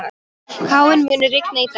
Káinn, mun rigna í dag?